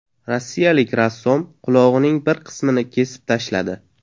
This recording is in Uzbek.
Rossiyalik rassom qulog‘ining bir qismini kesib tashladi.